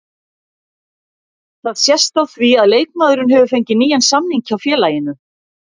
Það sést á því að leikmaðurinn hefur fengið nýjan samning hjá félaginu.